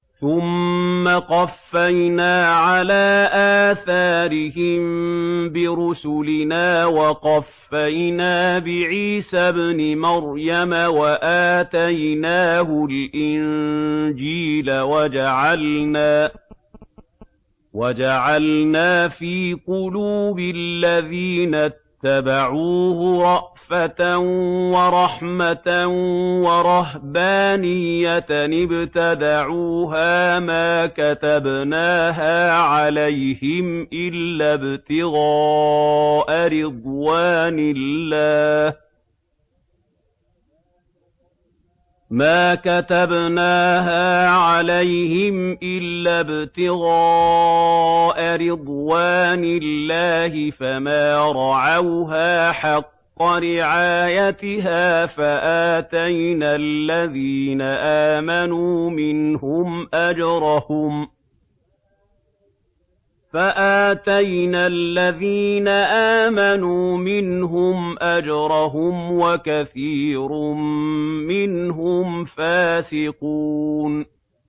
ثُمَّ قَفَّيْنَا عَلَىٰ آثَارِهِم بِرُسُلِنَا وَقَفَّيْنَا بِعِيسَى ابْنِ مَرْيَمَ وَآتَيْنَاهُ الْإِنجِيلَ وَجَعَلْنَا فِي قُلُوبِ الَّذِينَ اتَّبَعُوهُ رَأْفَةً وَرَحْمَةً وَرَهْبَانِيَّةً ابْتَدَعُوهَا مَا كَتَبْنَاهَا عَلَيْهِمْ إِلَّا ابْتِغَاءَ رِضْوَانِ اللَّهِ فَمَا رَعَوْهَا حَقَّ رِعَايَتِهَا ۖ فَآتَيْنَا الَّذِينَ آمَنُوا مِنْهُمْ أَجْرَهُمْ ۖ وَكَثِيرٌ مِّنْهُمْ فَاسِقُونَ